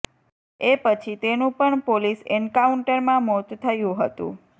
એ પછી તેનું પણ પોલીસ એન્કાઉન્ટરમાં મોત થયું હતું